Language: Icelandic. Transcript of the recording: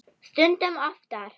Stundum oftar.